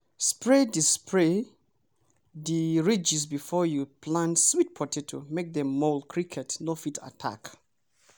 spray di spray di ridges before you plant sweet potato make dem mole cricket no fit attack!